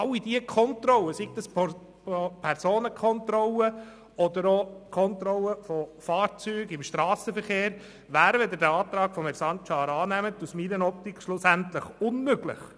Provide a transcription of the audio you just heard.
All diese Kontrollen, seien es Personenkontrollen oder Kontrollen von Fahrzeugen im Strassenverkehr, wären, wenn Sie den Antrag annähmen, aus meiner Optik schlussendlich unmöglich.